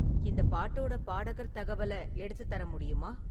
இந்த பாட்டோட பாடகர் தகவலை எடுத்துத் தர முடியுமா?